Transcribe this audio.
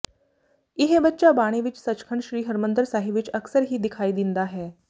ਇਹ ਬੱਚਾ ਬਾਣੇ ਵਿੱਚ ਸੱਚਖੰਡ ਸ਼੍ਰੀ ਹਰਿਮੰਦਰ ਸਾਹਿਬ ਵਿੱਚ ਅਕਸਰ ਹੀ ਦਿਖਾਈ ਦਿੰਦਾ ਹੈ